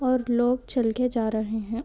और लोग चल के जा रहे है।